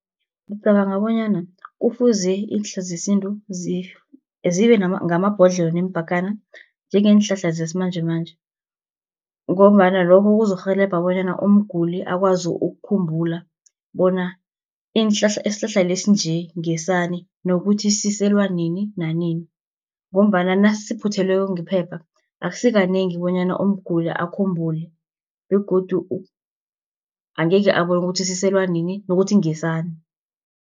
Ngicabanga bonyana kufuze iinhlahla zesintu zibe ngamabhodlelo, neempakana njengeenhlahla zesimanjemanje, ngombana lokho kuzokurhelebha bonyana umguli akwazi ukukhumbula bona isihlahla lesi nje ngesani, nokuthi siselwa nini nanini, ngombana nasiphuthelweko ngephepha, akusi kanengi bonyana umguli akhumbule, begodu angekhe abone ukuthi siselwa nini nokuthi ngesani.